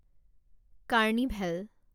carnival